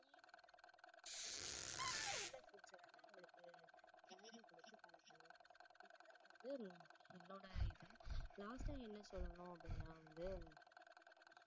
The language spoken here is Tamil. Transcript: நல்ல foods அ வந்து அவங்களுக்கு பழக்கணும் இது தான் வந்து என்னோட இது last ஆ என்ன சொல்லணும்னா அப்படின்னா வந்து